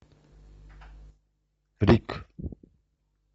рик